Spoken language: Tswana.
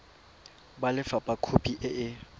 ba lefapha khopi e e